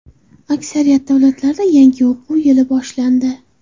Aksariyat davlatlarda yangi o‘quv yili boshlandi.